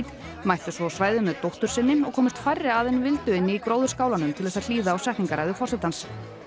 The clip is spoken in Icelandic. mættu svo á svæðið með dóttur sinni og komust færri að en vildu inni í til að hlýða á setningarræðu forsetans